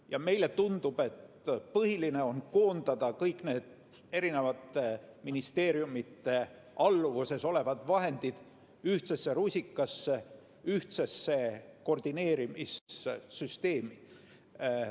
Ja meile tundub, et põhiline on koondada kõik need eri ministeeriumide alluvuses olevad vahendid ühtsesse rusikasse, ühtsesse koordineerimissüsteemi.